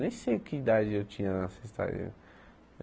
Nem sei que idade eu tinha na Sexta ê.